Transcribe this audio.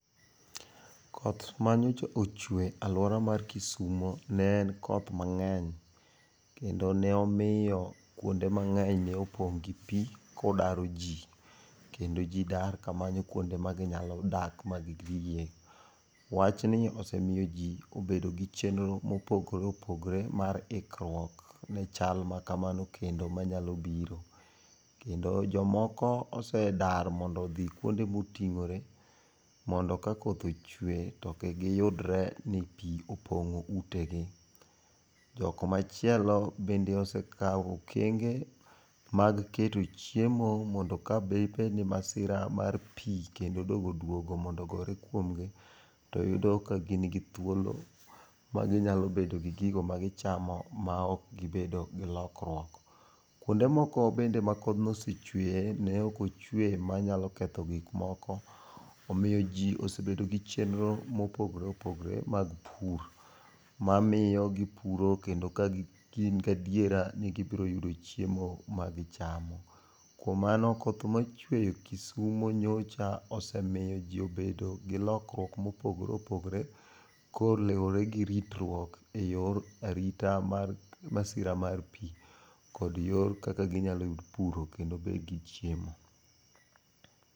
Koth ma nyocha ochwe e aluora mar kisumo ne koth mang'eny kendo ne omiyo kuonde mang'eny ne opong gi pi ko odaro ji kendo ji dar ka manyo kuonde ma gi nya dake ma gi tiye. Wachni osemiyo ji obedo gi chenro ma opogore opogore mar ikruok ne chal ma kamano kendo ma nyalo biro kendo jo moko be osedar mondo odhi kuonde ma otingore mondo ka koth ochwe to kik gi yudre ni pi opongo ute gi. Jo kumachielo be osekao okenge mondo ka de bed ni masira mar pi kendo odogo duogo mondo ogore kuom gi to iyudo ka gin gi thuolo mar gi nyalo bedo gi gigo ma gi chamo ma ok gi bedo gi lokruok .Kuonde moko bende ma kodhne osechwe ne ok ochwe ma nya ketho gik moko omiyo ji osebedo gi chenro ma opogore opogore mar pur ma miyo gi puro kendo kagin ga adiera ni gi biro yudo chiemo ma gi chamo. Kuom mano koth ma ochwe kisumo nyocha osemiyo ji obedo gi lokruok ma opogore opogore ka oluwore ritruok e yor arita mar masira mar pi kod yo kaka gi nya puro kendo gi yudo chiemo.